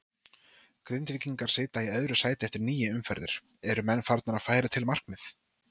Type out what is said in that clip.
Grindvíkingar sitja í öðru sæti eftir níu umferðir, eru menn farnir að færa til markmið?